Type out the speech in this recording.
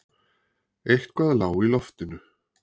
Eitthvað lá í loftinu.